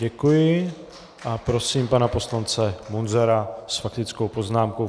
Děkuji a prosím pana poslance Munzara s faktickou poznámkou.